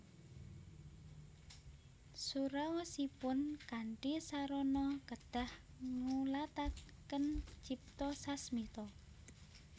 Suraosipun kanthi sarana kedah ngulataken cipta sasmita